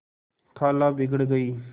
खाला बिगड़ गयीं